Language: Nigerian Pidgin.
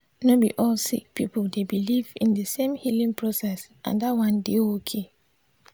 no be all sik pipul dey biliv in di sem healing process and dat one dey okay.